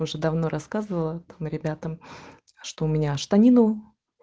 уже давно рассказывала там ребятам что у меня штанину